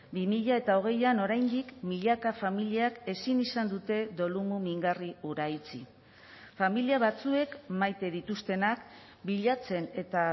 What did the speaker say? bi mila hogeian oraindik milaka familiak ezin izan dute dolu mingarri hura itxi familia batzuek maite dituztenak bilatzen eta